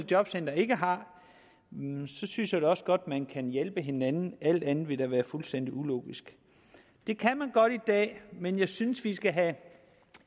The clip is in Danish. jobcenter ikke har synes jeg da også godt man kan hjælpe hinanden alt andet ville da være fuldstændig ulogisk det kan man godt i dag men jeg synes vi skal have